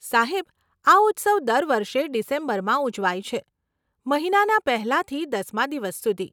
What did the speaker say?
સાહેબ, આ ઉત્સવ દર વર્ષે ડિસેમ્બરમાં ઉજવાય છે, મહિનાના પહેલાંથી દસમાં દિવસ સુધી.